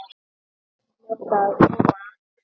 Þau hljóta að koma aftur.